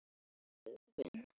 Hver er nú sögnin?